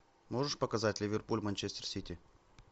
можешь показать ливерпуль манчестер сити